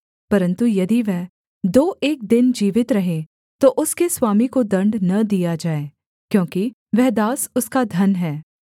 परन्तु यदि वह दो एक दिन जीवित रहे तो उसके स्वामी को दण्ड न दिया जाए क्योंकि वह दास उसका धन है